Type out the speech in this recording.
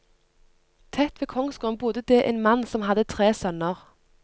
Tett ved kongsgården bodde det en mann som hadde tre sønner.